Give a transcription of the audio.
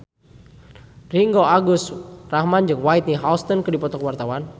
Ringgo Agus Rahman jeung Whitney Houston keur dipoto ku wartawan